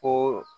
Ko